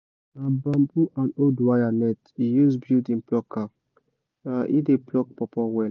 na bamboo and old wire net he use build him plucker—e dey pluck pawpaw well